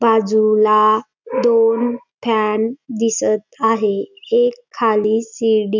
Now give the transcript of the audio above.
बाजूला दोन फॅन दिसत आहे एक खाली शिडी--